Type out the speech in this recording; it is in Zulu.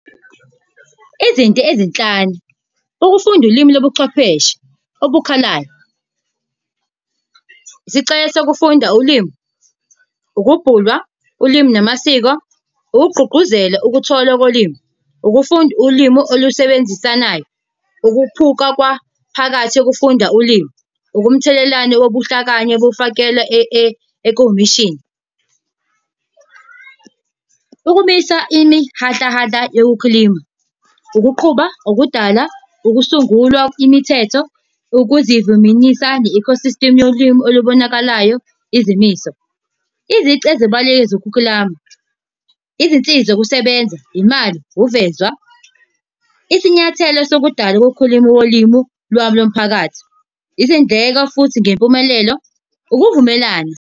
Izinto ezinhlanu ukufunda ulimi lobuchwepheshe. Okukhalayo, isicelo sokufunda ulimi, ukubhulwa ulimi namasiko, ukugqugquzela ukuthola kolimi, ukufunda ulimi olusebenzisanayo. Ukuphuka kwaphakathi ukufunda ulimi. Ukumthelelane wobuhlakanye bufakela ekomishini. Ukumisa imihahlahahla yokukhilima, ukuqhuba, ukudala, ukusungulwa imithetho, ukuzivuminyisani ecosystem yolimi olubonakalayo. Izimiso, izici ezibalulekile zokuklama. Izinsiza zokusebenza, imali, ukuvezwa, isinyathelo sokudala ukukhuluma kolimi lwami lomphakathi, izindleko futhi ngempumelelo ukuvumelana.